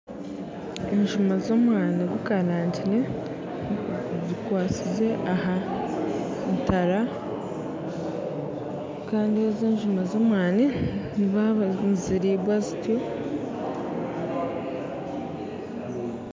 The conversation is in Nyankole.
Enjuma z'omwaani gukarangire, zikwatsize aha ntara kandi enjuma z'omwaani ezo niziriibwa zityo.